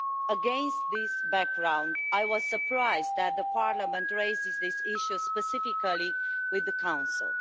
Against this background, I was surprised that Parliament is raising this issue specifically with the Council.